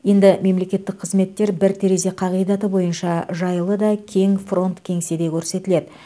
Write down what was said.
енді мемлекеттік қызметтер бір терезе қағидаты бойынша жайлы да кең фронт кеңседе көрсетіледі